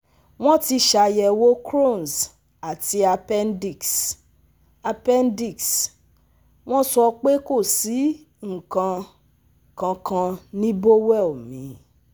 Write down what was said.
Wọn ti ṣayẹ̀wò Crohn's àti appendix, appendix, wọn sọ pé kò sí nnkan kankan ní bowel mi